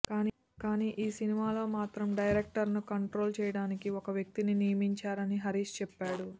కానీ ఈ సినిమాలో మాత్రం డైరెక్టర్ను కంట్రోల్ చేయడానికి ఒక వ్యక్తిని నియమించారని హరీష్ చెప్పాడు